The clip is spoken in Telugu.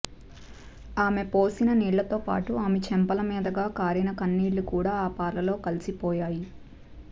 ఆమె పోసిన నీళ్లతోపాటు ఆమె చెంపల మీదుగా కారిన కన్నీళ్లు కూడా ఆ పాలలో కలిసిపోయాయి